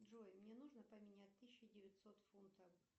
джой мне нужно поменять тысячу девятьсот фунтов